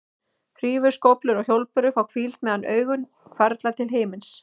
Hrífur, skóflur og hjólbörur fá hvíld meðan augun hvarfla til himins.